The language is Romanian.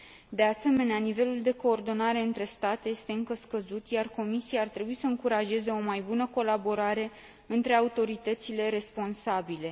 De asemenea, nivelul de coordonare între state este încă scăzut, iar Comisia ar trebui să încurajeze o mai bună colaborare între autoritățile responsabile.